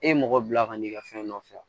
E ye mɔgɔ bila ka n'i ka fɛn nɔfɛ